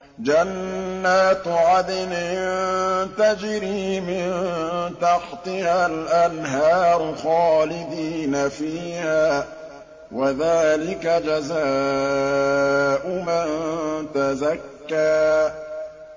جَنَّاتُ عَدْنٍ تَجْرِي مِن تَحْتِهَا الْأَنْهَارُ خَالِدِينَ فِيهَا ۚ وَذَٰلِكَ جَزَاءُ مَن تَزَكَّىٰ